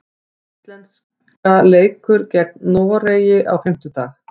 Íslenska leikur gegn Noregi á fimmtudag.